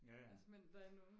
jaja